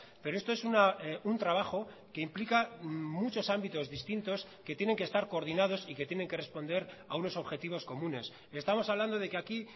pero esto es un trabajo que implica muchos ámbitos distintos que tienen que estar coordinados y que tienen que responder a unos objetivos comunes estamos hablando de que aquí